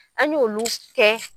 An y'olu kɛ